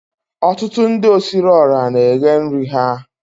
Ọtụtụ ndi osiriiora na eghe nri ha